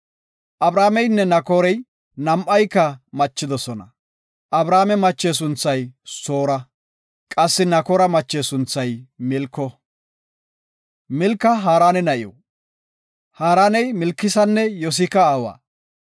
Abrameynne Naakorey nam7ayka machidosona. Abrame mache sunthay Soora. Qassi Nakoora mache sunthay Milko. Milka Haarana na7iw; Haaraney Milkanne Yosika aawa.